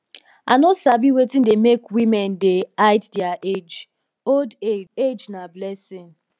i no sabi wetin dey make women dey hide their age old age age na blessing